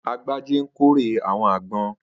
Agbájé ń kórè àwọn àgbon.